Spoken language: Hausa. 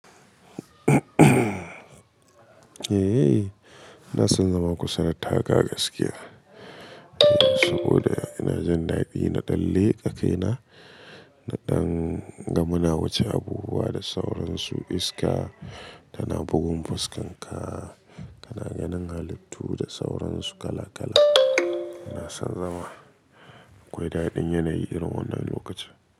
Eh, ina san zama kusa da taka gaskiya. Saboda ina jin daɗi na ɗan leƙa kaina da ɗan gamuna wuce abubuwa da sauransu, iska tana bugun fuskarka, kana ganin halittu da sauransu kala kala. Ina san zama akwai daɗin yanayi irin wannan lokaci.